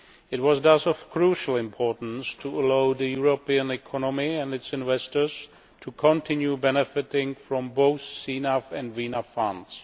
It was thus of crucial importance to allow the European economy and its investors to continue benefiting from both CNAV and VNAV funds.